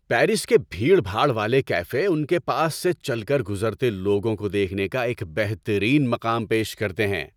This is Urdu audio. پیرس کے بھیڑ بھاڑ والے کیفے ان کے پاس سے چل کر گزرتے لوگوں کو دیکھنے کا ایک بہترین مقام پیش کرتے ہیں۔